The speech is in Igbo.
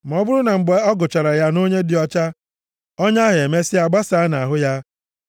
Ma ọ bụrụ na mgbe a gụchara ya nʼonye dị ọcha ọnya ahụ emesịa basaa nʼahụ ya.